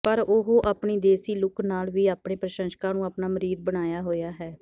ਪਰ ਉਹ ਆਪਣੀ ਦੇਸੀ ਲੁੱਕ ਨਾਲ ਵੀ ਆਪਣੇ ਪ੍ਰਸ਼ੰਸ਼ਕਾਂ ਨੂੰ ਆਪਣਾ ਮੁਰੀਦ ਬਣਾਇਆ ਹੋਇਆ ਹੈ